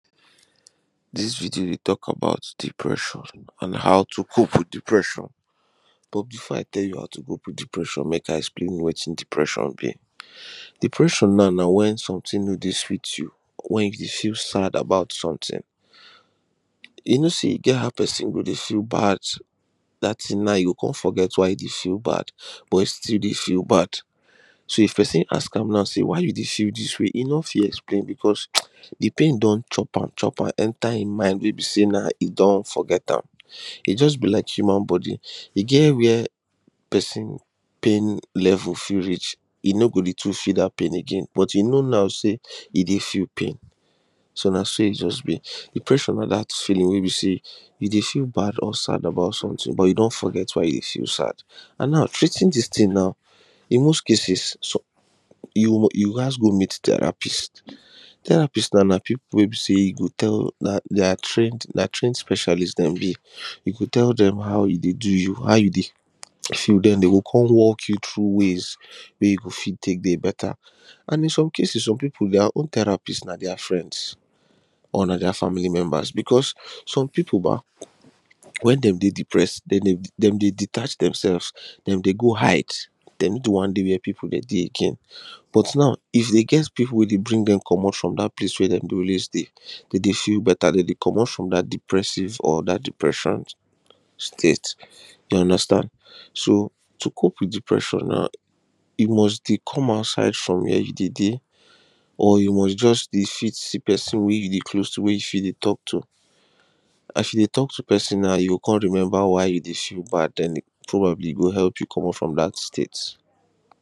this video dey talk about depression an how to cope with depression but before i tell you how to cope with depression, make i explain wetin depression mean. depression now na when something no dey sweet you, when you feel sad about something e no sey e get how person go dey feel bad that thing na e go come forget why you feel bad but e still d ey feel bad so if person ask naw why you dey feel this way e no fit explain because the pain don chop am chop am enter him mind way be say na e don forget am E just be like human body e get where person pain level fit reach he no go day to feel that pain again but he know now say he day feel pain so na so e just be depression na another feeling way be say you day feel bad or sad about sometin but you don forget why you day feel sad and now treating this thing now in most cases you gas go meet therapist, therapist na people way be say you go tell na trained speacialist them be you go tell them how e day do you how you day feel then them go come walk you through ways way you go fit take day better and in some cases some people their own therapist na their friends or na their family members because some people when them day depressed them day detach themselves them dey go hide them no want they where people they day again but now if them get people way they help bring them comot from that place way them day always dey them dey feel better them day comot from that depressiveor depression state you understand so to cope with depression na you must dey come outside from wey you dey dey or you must just be dey fit see person wey you dey close to wey you fit dey talk to as you dey talk to person na you go come remember why you dey feel bad probably e go help you comot from that state